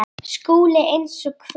Eruð þið komin aftur?